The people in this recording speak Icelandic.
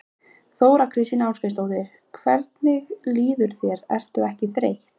Þóra Kristín Ásgeirsdóttir: Hvernig líður þér, ertu ekki þreytt?